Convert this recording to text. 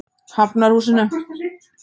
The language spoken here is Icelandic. Hafnarhúsinu